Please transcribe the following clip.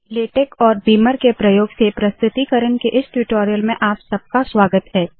LaTeX और Beamer के प्रयोग से प्रस्तुतीकरण के इस ट्यूटोरियल में आप सबका स्वागत है